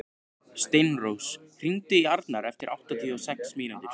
Steinrós, hringdu í Arnar eftir áttatíu og sex mínútur.